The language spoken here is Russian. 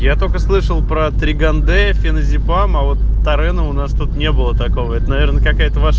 я только слышал про триган-д феназепам а вот тарена у нас тут не было такого это наверное какая-то ваша